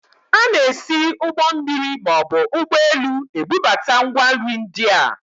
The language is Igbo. A na-esi ụgbọ mmiri maọbụ ụgbọelu ebubata ngwa nri ndị a